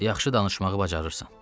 Yaxşı danışmağı bacarırsan.